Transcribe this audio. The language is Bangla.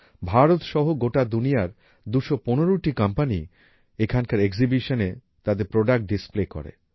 ভারত সহ গোটা দুনিয়ার ২১৫ টি কোম্পানি এখানকার এক্সিবিশন এ তাদের প্রোডাক্ট ডিসপ্লে করে